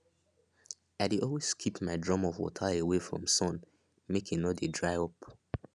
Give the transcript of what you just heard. i dey always keep my drum of water away from sun make e no dey dry up